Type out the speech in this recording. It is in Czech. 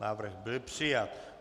Návrh byl přijat.